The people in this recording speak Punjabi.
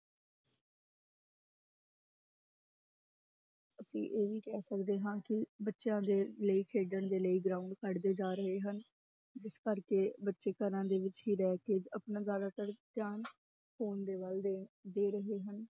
ਅਸੀਂ ਇਹ ਵੀ ਕਹਿ ਸਕਦੇ ਹਾਂ ਕਿ ਬੱਚਿਆਂ ਦੇ ਲਈ ਖੇਡਣ ਦੇ ਲਈ ground ਘੱਟਦੇ ਜਾ ਰਹੇ ਹਨ, ਜਿਸ ਕਰਕੇ ਬੱਚੇ ਘਰਾਂ ਦੇ ਵਿੱਚ ਹੀ ਰਹਿ ਕੇ ਆਪਣਾ ਜ਼ਿਆਦਾਤਰ ਧਿਆਨ phone ਦੇ ਵੱਲ ਦੇ, ਦੇ ਰਹੇ ਹਨ।